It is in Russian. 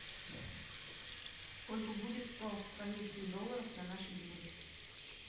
сколько будет сто австралийских долларов на наши деньги